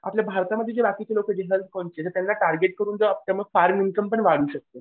आपल्या भारतामध्ये जे बाकीचे लोकं त्यांना टार्गेट करून मग आपण इनकम पण वाढवू शकतो.